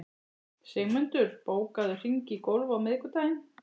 Sigmundur, bókaðu hring í golf á miðvikudaginn.